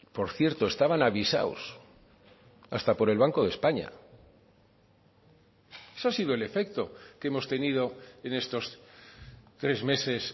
por cierto estaban avisados hasta por el banco de españa eso ha sido el efecto que hemos tenido en estos tres meses